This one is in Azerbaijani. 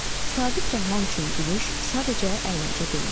Sabit Rəhman üçün gülüş sadəcə əyləncə deyildi.